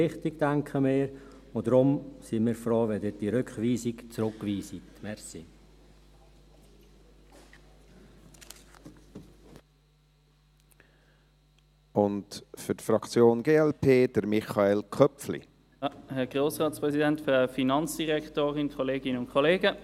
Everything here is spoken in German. Wir denken, es sei ein Schritt in die richtige Richtung, und deshalb sind wir froh, wenn Sie diese Rückweisung zurückweisen.